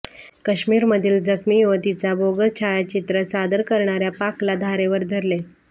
काश्मीरमधील जखमी युवतीचा बोगस छायाचित्र सादर करणाऱया पाकला धारेवर धरले